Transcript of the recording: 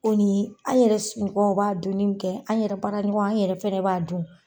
O ni an yɛrɛ somɔgɔw b'a dunni min kɛ ,an yɛrɛ baara ɲɔgɔn an yɛrɛ fɛnɛ b'a dun.